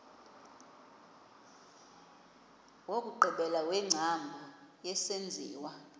wokugqibela wengcambu yesenziwa